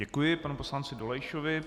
Děkuji panu poslanci Dolejšovi.